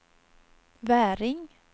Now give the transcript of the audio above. Väring